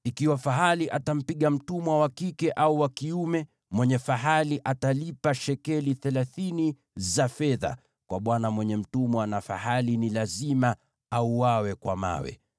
Ikiwa fahali atampiga mtumwa wa kike au wa kiume, mwenye fahali atalipa shekeli thelathini za fedha kwa bwana mwenye mtumwa, na fahali ni lazima auawe kwa mawe.